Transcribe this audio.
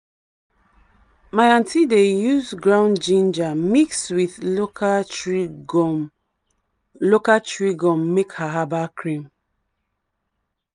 my aunty dey use ground ginger mix with local tree gum local tree gum make her herbal cream.